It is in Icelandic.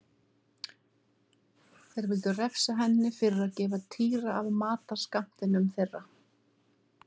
Þeir vildu refsa henni fyrir að gefa Týra af matarskammtinum þeirra.